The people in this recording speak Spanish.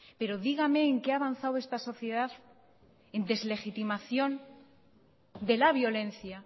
pero dígame en que ha avanzado esta sociedad en deslegitimación de la violencia